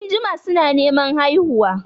Sun jima su na Neman haihuwa